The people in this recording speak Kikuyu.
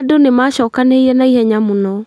Andũ nĩmacokanĩrĩire naihenya mũno